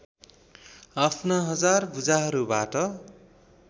आफ्ना हजार भुजाहरूबाट